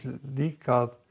líka að